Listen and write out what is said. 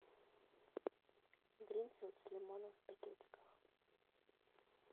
гринфилд с лимоном в пакетиках